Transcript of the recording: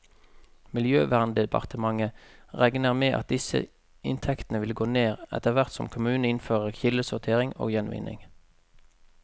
Miljøverndepartementet regner med at disse inntektene vil gå ned, etterhvert som kommunene innfører kildesortering og gjenvinning.